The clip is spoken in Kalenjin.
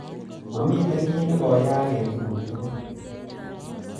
Mamiten kiiy negoyaak eng tuguk tugul